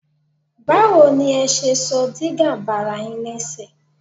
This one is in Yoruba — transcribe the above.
Báwo ni ẹ ṣe sọ dígà bara yín lẹ́sẹ̀?